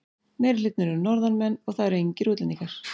Meirihlutinn eru Norðanmenn og það eru engir útlendingar.